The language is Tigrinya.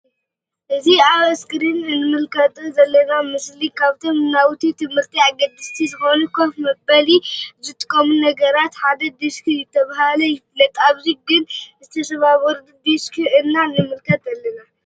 እዚ አብ እስክሪን እንምልከቶ ዘለና ምስሊ ካብቶም ንናውቲ ትምህርቲ አገደስቲ ዝኮኑ ከፍ መበሊ ዝጠቅሙ ነገራት ሓደ ዲስክ ዳተብሃለ ይፍለጥ::አብዚ ግን ዝተሰባበሩ ዲስክ ኢና ንምልከት ዘለና::